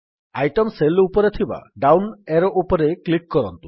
item cell ଉପରେ ଥିବା down arrow ଉପରେ କ୍ଲିକ୍ କରନ୍ତୁ